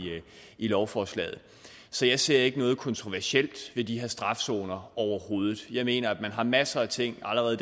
i lovforslaget så jeg ser ikke noget kontroversielt ved de her strafzoner overhovedet jeg mener at man har masser af ting allerede